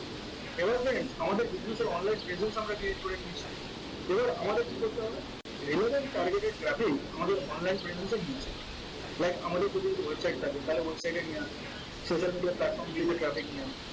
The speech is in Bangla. এবার আসেন আমাদের business এর online presence টা আমরা create করে নিয়েছি এবার আমাদের কি করতে হবে? relevant targeted traffic আমাদের online presence নিয়ে আসতে হবে like আমাদের যদি website থাকে তাহলে website এ নিয়ে social media platform গুলোতে traffic নিয়ে আসা